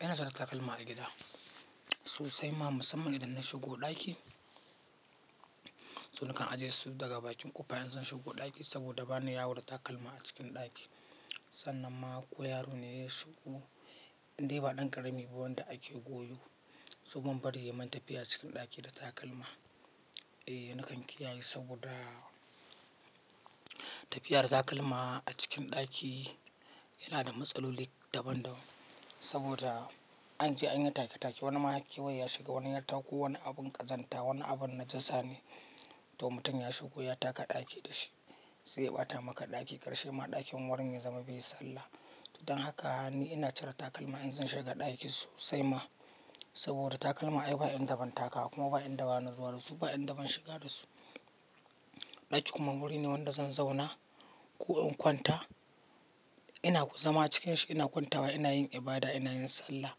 Ina cire takalma a gida sosai ma musamman idan na shigo ɗaki. So nakan ajiye su daga bakin ƙofa in zan shigo ɗaki saboda ba ni yawo da takalma a cikin ɗaki. Sannan ma ko yaro ne ya shigo indai ba ɗan ƙarami ba wanda ake goyo, so ban bari yayi man tafiya cikin ɗaki da takalma. E nakan kiyaye saboda tafiya da takalma a cikin ɗaki yana da matsaloli daban-daban. Saboda anje an yi take take wani ma har kewaye ya shiga wani ya tako wani abun ƙazanta wani abun najasa ne. To mutum ya shigo ya taka ɗaki da shi sai ya ɓata maka ɗaki karshe ma ɗakin warin ya zama bai sallah. Dan haka ni ina cire takalma in zan shiga ɗaki sosai ma saboda takalma ai ba inda ban takawa kuma ba inda bana zuwa da su ba inda ban shiga da su. Ɗaki kuma wuri ne wanda zan zauna ko in kwanta ina zama cikin shi ina kwantawa ina yin ibada ina yin sallah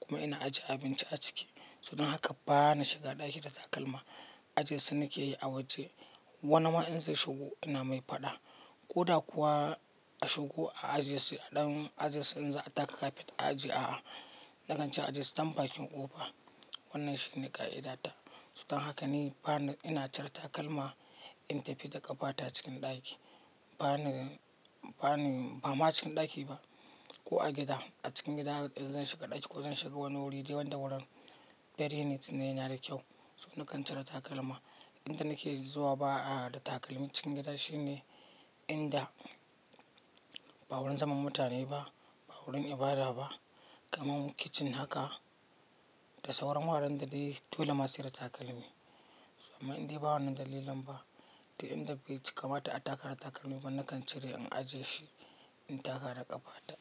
kuma ina ajiye abinci a ciki. So dan haka ba na shiga ɗaki da takalma ajiye su nake yi a waje. Wani ma in zai shigo ina mai faɗa ko da kuwa a shigo a ajiye su a ɗan ajiye su in za a taka kafet a ajiye a'a. Nakan ce a ajiye su can bakin ƙofa wannan shine ƙa'idata. Saboda haka ni ba ina cire takalma in tafi da ƙafa ta cikin ɗaki. Ba ma cikin ɗaki ba ko a gida a cikin gida zan shiga ɗaki ko zan shiga wani wuri dai wanda wurin very neat ne yana da kyau. So nakan cire takalma. Inda nake zuwa ba a da takalmi cikin gida shine inda ba wurin zaman mutane ba ba wurin ibada ba kamar kitchen haka da sauran wuraren da dai dole ma sai da takalmi. So amma indai ba wannan dalilan ba dai inda bai ci kamata a taka da takalmi ba nakan cire in ajiye shi in taka da ƙafa ta.